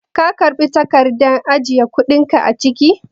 Ka karɓi takardar ajiye kuɗi ka cike?